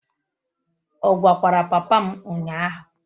Ọ gwakwara papa m ụnyahụ?